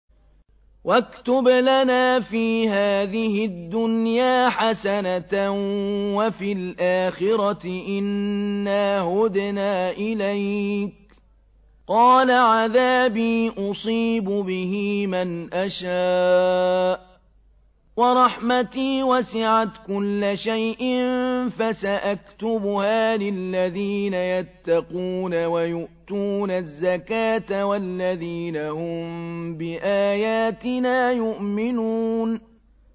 ۞ وَاكْتُبْ لَنَا فِي هَٰذِهِ الدُّنْيَا حَسَنَةً وَفِي الْآخِرَةِ إِنَّا هُدْنَا إِلَيْكَ ۚ قَالَ عَذَابِي أُصِيبُ بِهِ مَنْ أَشَاءُ ۖ وَرَحْمَتِي وَسِعَتْ كُلَّ شَيْءٍ ۚ فَسَأَكْتُبُهَا لِلَّذِينَ يَتَّقُونَ وَيُؤْتُونَ الزَّكَاةَ وَالَّذِينَ هُم بِآيَاتِنَا يُؤْمِنُونَ